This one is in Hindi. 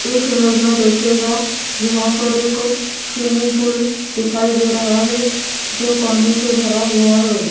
इस इमेज में देखिएगा यहां पर एक स्विमिंग पूल दिखाई दे रहा है जो पानी से भरा हुआ है।